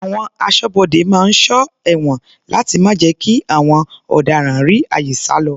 Àwọn aṣọ́bodè máa ń sọ ẹ̀wọ̀n láti má jẹ́ kí àwọn ọ̀daràn rí àyè sálọ.